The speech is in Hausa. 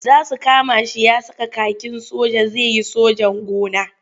Za su kama shi ya saka kakin soja zai yi sojan gona.